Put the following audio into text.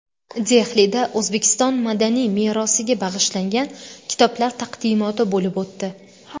Dehlida O‘zbekiston madaniy merosiga bag‘ishlangan kitoblar taqdimoti bo‘lib o‘tdi.